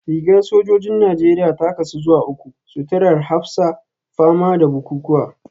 Rigar sojojin Najeriya ta kasu zuwa uku; suturar hafsa, fama da bukukuwa